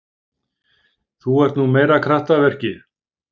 Þú ert nú meira kraftaverkið.